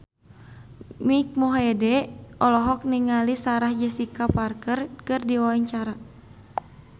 Mike Mohede olohok ningali Sarah Jessica Parker keur diwawancara